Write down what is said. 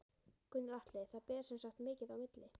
Gunnar Atli: Það ber sem sagt mikið á milli?